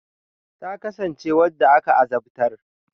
Ta kasance wanda aka azabtar.